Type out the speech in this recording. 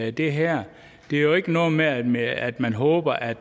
i det her er jo ikke noget med at med at man håber at